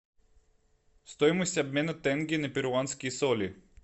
стоимость обмена тенге на перуанские соли